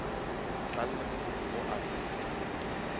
tlang le mokopi mo aforika